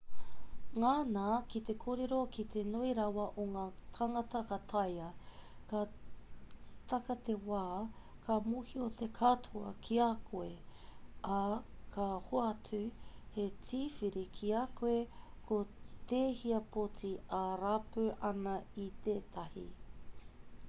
ngana ki te kōrero ki te nui rawa o ngā tāngata ka taea ka taka te wā ka mōhio te katoa ki a koe ā ka hoatu he tīwhiri ki a koe ko tēhea poti e rapu ana i tētahi